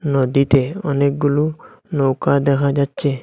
নদীতে অনেকগুলো নৌকা দেহা যাচ্চে।